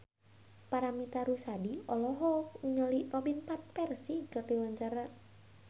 Paramitha Rusady olohok ningali Robin Van Persie keur diwawancara